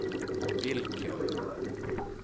vilken